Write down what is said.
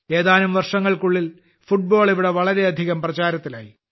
ഏതാനും വർഷങ്ങൾക്കുള്ളിൽ ഫുട്ബോൾ ഇവിടെ വളരെ പ്രചാരത്തിലായി